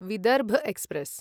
Vidarbha express